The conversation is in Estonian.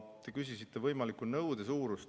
Te küsisite võimaliku nõude suurust.